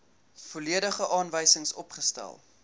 volledige aanwysings opgestel